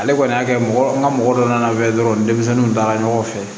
Ale kɔni y'a kɛ mɔgɔ n ka mɔgɔ dɔ nana bɛ dɔrɔn denmisɛnninw taara ɲɔgɔn fɛ